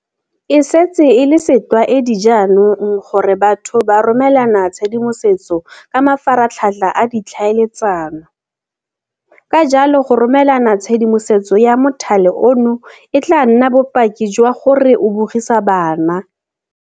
E setse e le setlwaedi jaanong gore batho ba romelana tshedimosetso ka mafaratlhatlha a ditlhaeletsano. Ka jalo, go romelana tshedimosetso ya mothale ono e tla nna bopaki jwa gore o bogisa bana.